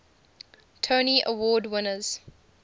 tony award winners